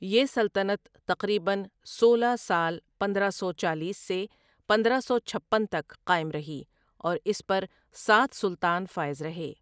یہ سلطنت تقریباً سولہ سال پندرہ سو چالیس سے پندرہ سو چھپن تک قائم رہی اور اس پر سات سلطان فائز رہے ۔